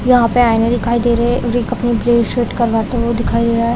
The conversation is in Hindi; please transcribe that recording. यहाँ पे आईने दिखाई दे रहे है वे अपनी क्लीन सेव करते हुए दिखाई दे रहा है।